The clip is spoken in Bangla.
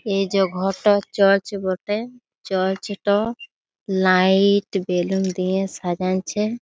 এই যে ঘরটা চার্চ বটে। চার্চ -টা লাইট বেলুন দিয়ে সাজাইঞ্ছে।